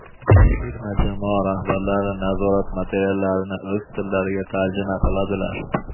Terma jamoa rahbarlari nazorat materiallarini o‘z tillariga tarjima qiladilar.